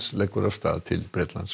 leggur af stað til Bretlands